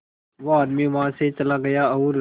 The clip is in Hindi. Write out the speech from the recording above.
वो आदमी वहां से चला गया और